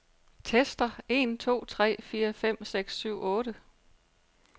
Tester en to tre fire fem seks syv otte.